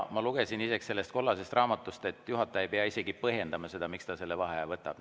Ma lugesin sellest kollasest raamatust, et juhataja ei pea isegi põhjendama, miks ta vaheaja võtab.